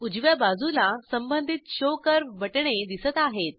उजव्या बाजूला संबंधित शो कर्व्ह बटणे दिसत आहेत